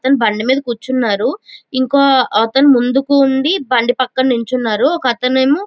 ఒకతను బండి మీద కూర్చున్నాడు ఇంకో అతను ముందుకు ఉండి బండి పక్కన నించున్నారు ఒక అతనేమో --